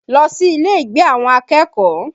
Lọ sí ilé ìgbé àwọn akẹ́kọ̀ọ́!